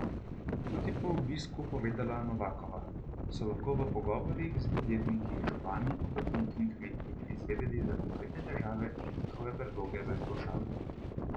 Kot je po obisku povedala Novakova, so lahko v pogovorih z podjetniki, župani, obrtniki in kmeti izvedeli za konkretne težave in njihove predloge za izboljšave.